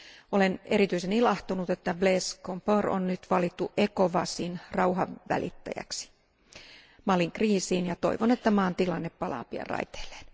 Olen erityisen ilahtunut, että Blaise Compaoré on nyt valittu ECOWASin rauhanvälittäjäksi Malin kriisiin, ja toivon, että maan tilanne palaa pian raiteilleen.